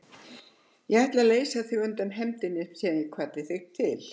Ég ætlaði að leysa þig undan hefndinni sem ég kvaddi þig til.